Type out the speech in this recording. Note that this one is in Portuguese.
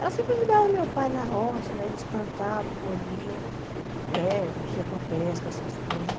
Ela sempre ajudava meu pai na roça, eles plantavam, colhiam, eh mexia com pesca, essas coisas.